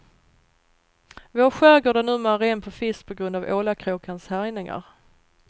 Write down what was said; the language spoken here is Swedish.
Vår skärgård är numera ren på fisk på grund av ålakråkans härjningar.